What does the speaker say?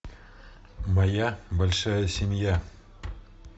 моя большая семья